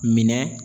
Minɛ